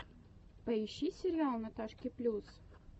поищи сериал наташки плюс